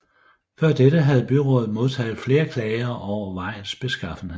Før dette havde byrådet modtaget flere klager over vejens beskaffenhed